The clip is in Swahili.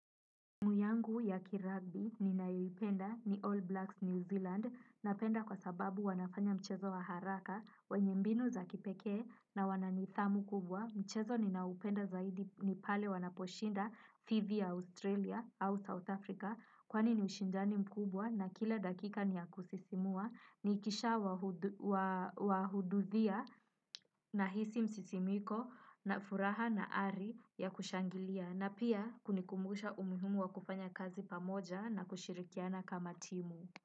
Timu yangu ya kiragbi ninayoipenda ni All Blacks New Zealand. Napenda kwa sababu wanafanya mchezo wa haraka wenye mbinu za kipekee na wana nidhamu kubwa. Mchezo ninaopenda zaidi ni pale wanaposhinda dhidi ya Australia au South Africa. Kwani ni ushindani mkubwa na kila dakika ni ya kusisimua. Nikisha wahudhuria, ninahisi msisimko na furaha na ari ya kushangilia. Na pia kunikumbusha umuhimu wa kufanya kazi pamoja na kushirikiana kama timu.